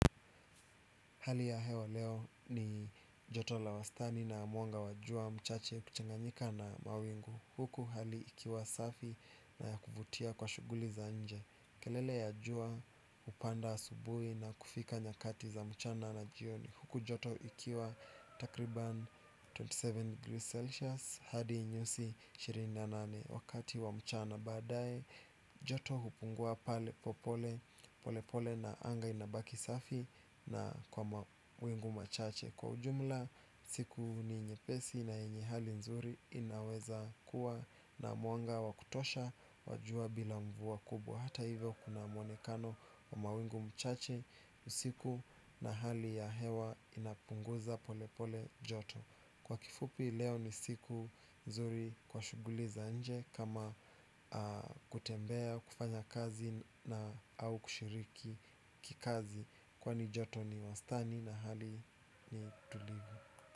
Hali ya hewa leo ni joto la wastani na mwanga wa jua mchache kuchanganyika na mawingu. Huku hali ikiwa safi na ya kuvutia kwa shughuli za nje. Kelele ya jua hupanda asubuhi na kufika nyakati za mchana na jioni. Huku joto ikiwa takriban ishirini na saba Celsius. Hadi nyuzi ishirini na nane wakati wa mchana baadae. Joto hupungua pale pole pole na anga inabaki safi na kwa mawingu machache. Kwa ujumla siku ni nyepesi na yenye hali nzuri inaweza kuwa na mwanga wa kutosha wajua bila mvua kubwa. Hata hivyo kuna mwonekano wa mawingu mchache usiku na hali ya hewa inapunguza pole pole joto. Kwa kifupi leo ni siku nzuri kwa shughuli za nje kama kutembea kufanya kazi na au kushiriki kikazi kwa ni joto ni wastani na hali ni tulivu.